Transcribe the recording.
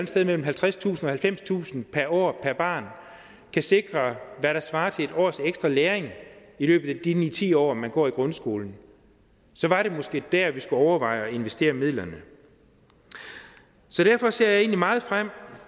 sted mellem halvtredstusind halvfemstusind per år per barn kan sikre hvad der svarer til et års ekstra læring i løbet af de ni ti år man går i grundskolen så var det måske der vi skulle overveje at investere midlerne derfor ser jeg egentlig meget frem